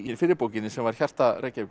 fyrri bókinni sem var hjarta Reykjavíkur